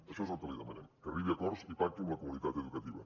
això és el que li demanem que arribi a acords i pacti amb la comunitat educativa